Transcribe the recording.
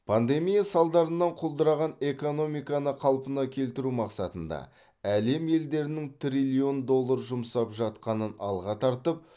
пандемия салдарынан құлдыраған экономиканы қалпына келтіру мақсатында әлем елдерінің триллион доллар жұмсап жатқанын алға тартып